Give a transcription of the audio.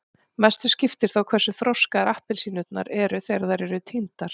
mestu skiptir þó hversu þroskaðar appelsínurnar eru þegar þær eru tíndar